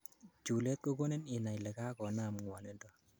chulet kogonin inai ile kakonam ngwonindo